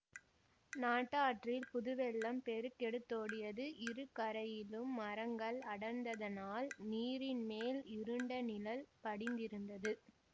நாட்டாற்றில் புதுவெள்ளம் பெருக்கெடுத் தோடியது இரு கரையிலும் மரங்கள் அடர்ந்ததனால் நீரின் மேல் இருண்ட நிழல் படிந்திருந்தது